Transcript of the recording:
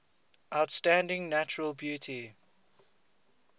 outstanding natural beauty